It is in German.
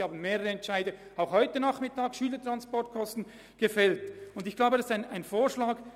Sie haben mehrere Entscheide gefällt, um die Gemeinden nicht zu belasten, wie etwa betreffend die Schülertransporte.